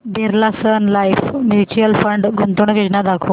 Birla sun life mutual fund गुंतवणूक योजना दाखव